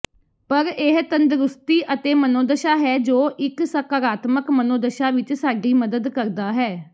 ਪਰ ਇਹ ਤੰਦਰੁਸਤੀ ਅਤੇ ਮਨੋਦਸ਼ਾ ਹੈ ਜੋ ਇੱਕ ਸਕਾਰਾਤਮਕ ਮਨੋਦਸ਼ਾ ਵਿੱਚ ਸਾਡੀ ਮਦਦ ਕਰਦਾ ਹੈ